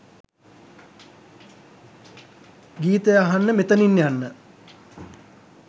ගීතය අහන්න මෙතනින් යන්න.